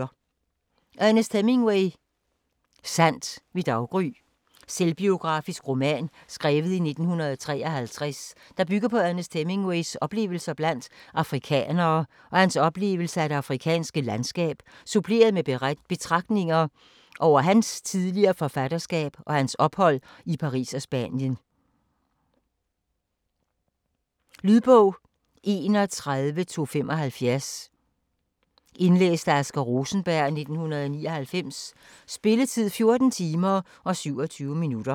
Hemingway, Ernest: Sandt ved daggry Selvbiografisk roman skrevet 1953, der bygger på Ernest Hemingways oplevelser blandt afrikanere og hans oplevelse af det afrikanske landskab, suppleret med betragtninger over hans tidligere forfatterskab og hans ophold i Paris og Spanien. Lydbog 31275 Indlæst af Asger Rosenberg, 1999. Spilletid: 14 timer, 27 minutter.